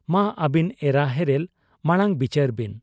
ᱼᱼᱼᱢᱟ ᱟᱹᱵᱤᱱ ᱮᱨᱟ ᱦᱮᱨᱮᱞ ᱢᱟᱬᱟᱝ ᱵᱤᱪᱟᱹᱨᱵᱤᱱ ᱾